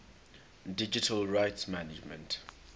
digital rights management